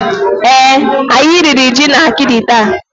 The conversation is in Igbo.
Èé, anyị riri ji na akidi taa.